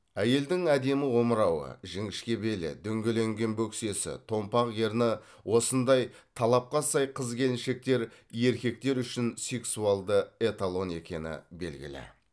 әйелдің әдемі омырауы жіңішке белі дөңгеленген бөксесі томпақ ерні осындай талапқа сай қыз келіншектер еркектер үшін сексуалды эталон екені белгілі